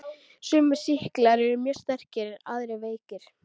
Sumir sýklar eru mjög sterkir en aðrir veikir.